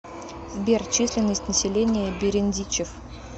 сбер численность населения берендичев